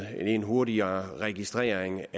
nemlig en hurtigere registrering